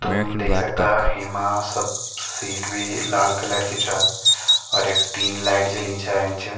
तुम देख सकदा हेमा सब सीट भी लाल कलर की छ और यख तीन लाइट जलीं छ ऐंच।